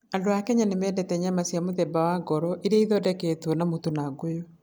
Andũ a Kenya nĩ mendete nyama cia mũthemba wa heart, iria ithondeketwo na mũtu na ngũyũ.